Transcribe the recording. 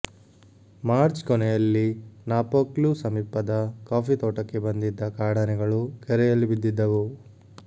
March ಕೊನೆಯಲ್ಲಿ ನಾಪೋಕ್ಲು ಸಮೀಪದ coffee ತೋಟಕ್ಕೆ ಬಂದಿದ್ದ ಕಾಡಾನೆಗಳು ಕೆರೆಯಲ್ಲಿ ಬಿದ್ದಿದ್ದವು